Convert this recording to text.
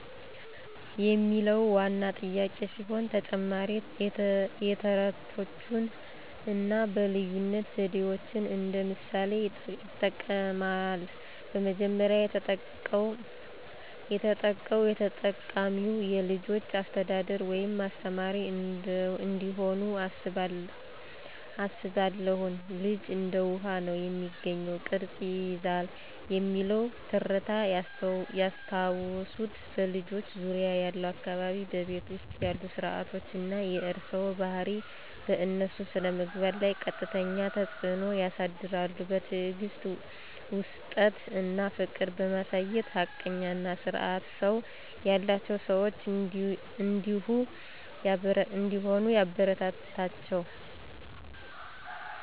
የሚለው ዋና ጥያቄ ሲሆን፣ ተጨማሪም የተረቶችን አና በልይነት ዘዴዎችን እንደ ምሣሌ ይጥቅማል። በመጀመሪያ፣ የተጠቃው የተጠቃሚዉ የልጅች አሰተዳደር ወይም አስተማሪ እንደሆኑ አስባለሁን። ልጅ እንደ ዉሀ። ነው፤ የሚገኘውን ቅረጽ ይይዛል "የሚለው ተረት ያስታወሱት "በልጆች ዙርያ ያለው አካባቢ፣ በቤት ዉስጥ ያሉ ስረዓቶች አና የእርሰዋ ባሀሪ በእነሱ ስነምግባር ለይ ቀጥተኛ ተጽዕኖ ያሳድራሉ። በትዕግስት፣ ዉስጥት አና ፍቅር በማሳየት ሀቀኛ አና ስርአት ሰው ያላቸው ሰዋች እንደሆሂ ያበረታታችዉ።